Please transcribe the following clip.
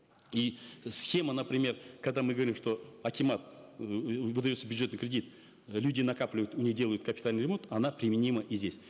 и схема например когда мы говорим что акимат эээ выдается бюджетный кредит люди накапливают у них делают капитальный ремонт она применима и здесь